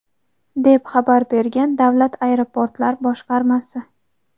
deb xabar bergan Davlat aeroportlar boshqarmasi.